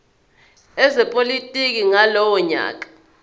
ezepolitiki ngalowo nyaka